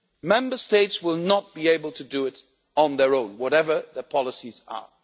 Member States will not be able to do it on their own, whatever their policies are.